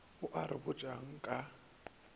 a a re botšago ka